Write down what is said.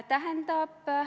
Aitäh!